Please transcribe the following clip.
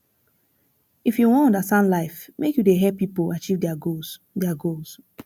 if you wan understand life make you dey help pipo achieve their goals their goals